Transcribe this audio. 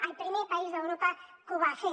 el primer país d’europa que ho va fer